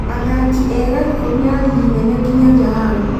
Atahaki ega ikũmi a rigi nene nginyagia hau